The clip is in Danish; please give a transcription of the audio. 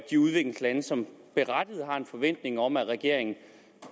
de udviklingslande som berettiget har en forventning om at regeringen